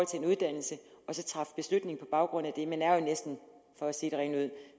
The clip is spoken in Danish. til en uddannelse og så træffe beslutning på baggrund af det man er jo næsten for at sige det rent ud